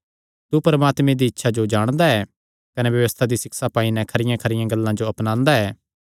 तू परमात्मे दी इच्छा जो जाणदा ऐ कने व्यबस्था दी सिक्षा पाई नैं खरियांखरियां गल्लां जो अपनांदा ऐ